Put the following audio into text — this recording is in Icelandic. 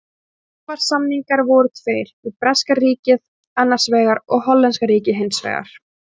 Svavars-samningarnir voru tveir, við breska ríkið annars vegar og hollenska ríkið hins vegar.